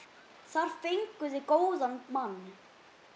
Þar fenguð þið góðan mann.